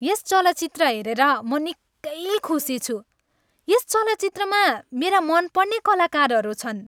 यस चलचित्र हेरेर म निकै खुसी छु। यस चलचित्रमा मेरा मनपर्ने कलाकारहरू छन्।